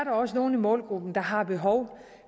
også nogle i målgruppen der har behov